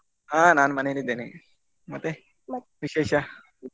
ಹಾ ನಾನ್ ಮನೇಲ್ ಇದೇನೆ ಮತ್ತೆ ವಿಶೇಷ.